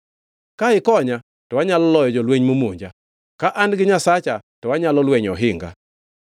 Ka ikonya to anyalo loyo jolweny momonja; ka an gi Nyasacha to anyalo lwenyo ohinga.